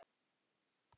Kennir þú?